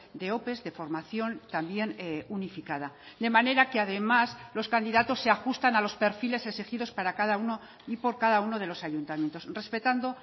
de ope de formación también unificada de manera que además los candidatos se ajustan a los perfiles exigidos para cada uno y por cada uno de los ayuntamientos respetando